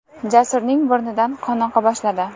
Jasurning burnidan qon oqa boshladi.